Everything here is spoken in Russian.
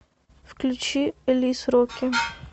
включи элис роки